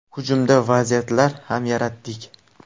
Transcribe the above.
Hujumda vaziyatlar kam yaratdik.